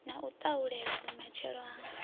na u tahulela vhumatshelo ha